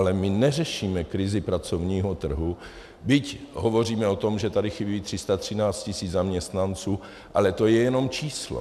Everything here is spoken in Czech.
Ale my neřešíme krizi pracovního trhu, byť hovoříme o tom, že tady chybí 313 tis. zaměstnanců, ale to je jenom číslo.